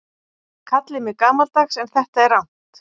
Kallið mig gamaldags en þetta er rangt.